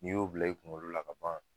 N'i y'o bila i kunkolo la kaban.